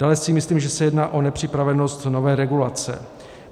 Dále si myslím, že se jedná o nepřipravenost nové regulace.